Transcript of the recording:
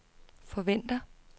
forventer